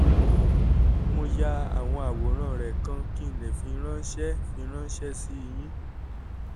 mo ya àwọn àwòrán rẹ̀ kan kí n lè fi ránṣẹ́ fi ránṣẹ́ sí i yín